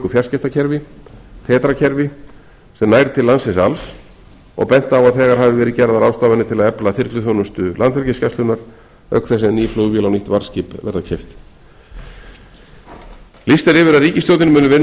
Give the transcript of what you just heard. fjarskiptakerfi tetra kerfi sem nær til landsins alls og bent á að þegar hafi verið gerðar ráðstafanir til að efla þyrluþjónustu landhelgisgæslunnar auk þess sem ný flugvél og nýtt varðskip verða keypt lýst er yfir að ríkisstjórnin muni vinna að því